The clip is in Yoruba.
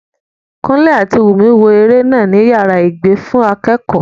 Kúnlé àti Wùnmí wo eré náà ní yàrá ìgbé fún akẹ́kọ̀ọ́